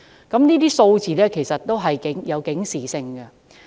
這些數字其實均有其警示性。